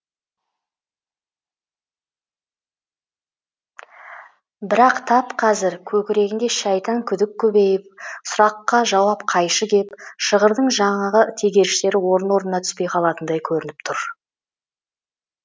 бірақ тап қазір көкірегінде шайтан күдік көбейіп сұраққа жауап қайшы кеп шығырдың жаңағы тегеріштері орын орнына түспей қалатындай көрініп тұр